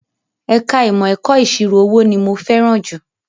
Ẹ̀ka ìmọ̀ ẹ̀kọ́ ìṣirò owó ni mo fẹ́ràn jù